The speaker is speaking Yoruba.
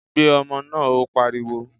Gbé ọmọ náà! Ó pariwo.